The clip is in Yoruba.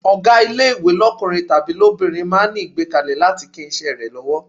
Ọ̀gá ilé-ìwé lọ́kùnrin tàbí lóbìnrin máa ń ní ìgbákejì láti lè kín iṣẹ́ rẹ lọ́wọ́.